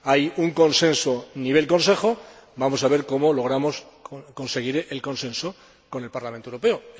Hay un consenso a nivel Consejo y vamos a ver cómo logramos conseguir el consenso con el Parlamento Europeo.